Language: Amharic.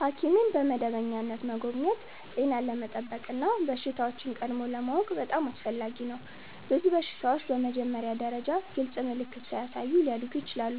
ሐኪምን በመደበኛነት መጎብኘት ጤናን ለመጠበቅ እና በሽታዎችን ቀድሞ ለማወቅ በጣም አስፈላጊ ነው። ብዙ በሽታዎች በመጀመሪያ ደረጃ ግልጽ ምልክት ሳያሳዩ ሊያድጉ ይችላሉ፣